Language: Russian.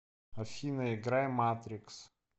афина играй матрикс